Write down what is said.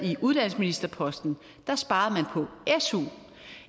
på uddannelsesministerposten sparede man på su